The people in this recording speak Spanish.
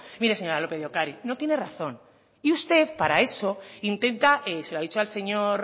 mire señora lópez de ocariz no tiene razón y usted para eso intenta se lo ha dicho al señor